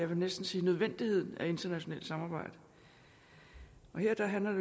vil næsten sige nødvendigheden af internationalt samarbejde her handler